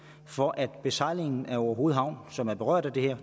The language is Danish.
for at besejlingen af orehoved havn som er berørt af det her